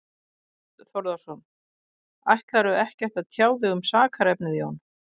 Þorbjörn Þórðarson: Ætlarðu ekkert að tjá þig um sakarefnið, Jón?